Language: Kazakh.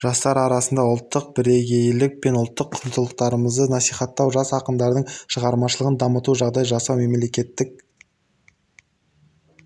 жастар арасында ұлттық бірегейлік пен ұлттық құндылықтарымызды насихаттау жас ақындардың шығармашылығын дамытуына жағдай жасау мемлекеттік